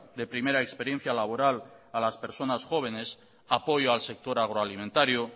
de primera experiencia laboral a las personas jóvenes apoyo al sector agroalimentario